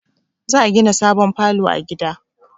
Za a gina sabon falo a gida